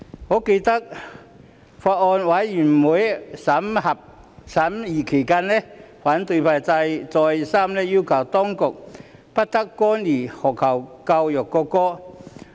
我記得，在法案委員會審議期間，反對派再三要求當局不得干預學校教育國歌的事宜。